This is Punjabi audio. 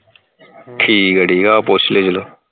ਠੀਕ ਹੈ ਠੀਕ ਹੈ ਆਹੋ ਪੁੱਛ ਲਈ ਚਲੋ।